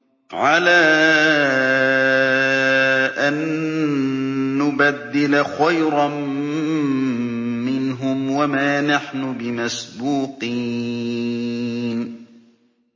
عَلَىٰ أَن نُّبَدِّلَ خَيْرًا مِّنْهُمْ وَمَا نَحْنُ بِمَسْبُوقِينَ